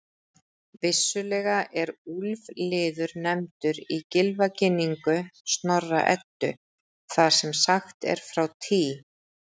Vissulega er úlfliður nefndur í Gylfaginningu Snorra-Eddu þar sem sagt er frá Tý.